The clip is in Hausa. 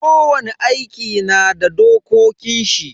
Kowani aiki na da dokokin shi.